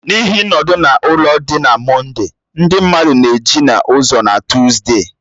N'ihi nọdụ-na-ụlọ dị na Mọnde, ndị mmadụ na-eju n'ụzọ na Tuside